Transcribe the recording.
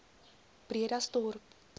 bredasdorp